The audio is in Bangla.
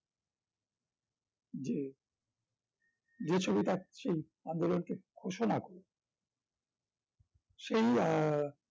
যে যে ছবিটা সেই আন্দোলনকে ঘোষণা করলো সেই আহ